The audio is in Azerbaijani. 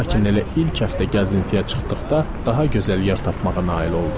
Lakin elə ilk həftə gəzintiyə çıxdıqda daha gözəl yer tapmağa nail oldum.